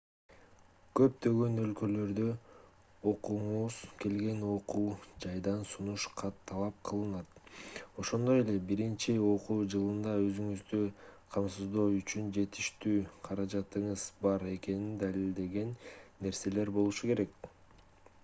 көптөгөн өлкөлөрдө окугуңуз келген окуу жайдан сунуш кат талап кылынат ошондой эле биринчи окуу жылында өзүңүздү камсыздоо үчүн жетиштүү каражатыңыз бар экенин далилдеген нерселер болушу керек